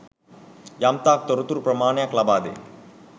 යම්තාක් තොරතුරු ප්‍රමාණයක් ලබාදේ.